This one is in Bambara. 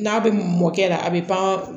N'a bɛ mɔkɛ yɛrɛ a bɛ pan